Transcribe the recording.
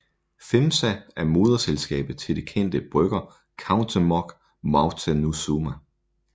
FEMSA er moderselskabet til det kendte brygger Cuauhtémoc Moctezuma